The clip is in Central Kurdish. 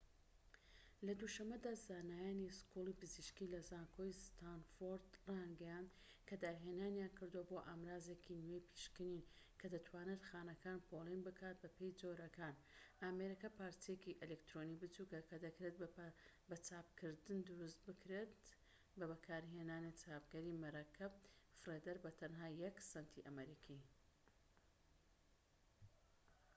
لە دوو شەمەدا زانایانی سکوڵی پزیشكی لە زانکۆی ستانفۆرد رایانگەیاند کە داهێنانیان کردووە بۆ ئامرازێکی نوێی پشکنین کە دەتوانێت خانەکان پۆلێن بکات بەپێی جۆرەکان ئامێرەکە پارچەیەکی ئەلیکترۆنیی بچوکە کە دەکرێت بە چاپکردن دروست بکرێت بە بەکارهێنانی چاپکەری مەرەکەب فڕێدەر بە تەنها یەك سەنتی ئەمریکی